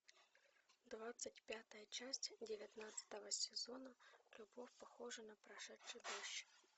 двадцать пятая часть девятнадцатого сезона любовь похожа на прошедший дождь